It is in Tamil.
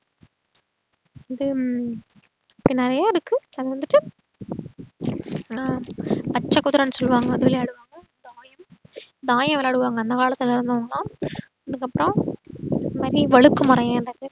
இதும் நறைய இருக்கு அதுவந்துட்டு அஹ் பச்ச குதிரனு சொல்லுவாங்க அது விளையாடுவாங்க அப்றோம் இது தாயம் விளையாடுவாங்க அந்த காலத்துல இருந்தவங்கலாம் அதுக்கப்றோம் இதுமாறி வழுக்குமரம் ஏர்றது